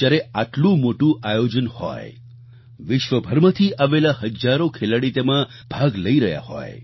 જ્યારે આટલું મોટું આયોજન હોય વિશ્વભરમાંથી આવેલા હજારો ખેલાડી તેમાં ભાગ લઈ રહ્યા હોય